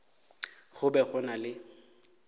go be go na le